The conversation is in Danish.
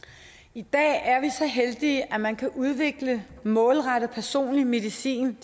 i dag er vi så heldige at man kan udvikle målrettet personlig medicin